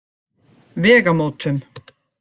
Vegamótum